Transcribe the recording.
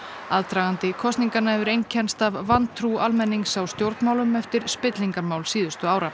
aðdragandi kosninganna hefur einkennst af vantrú almennings á stjórnmálum eftir spillingarmál síðustu ára